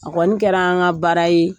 A Kɔni kɛra an ka baara ye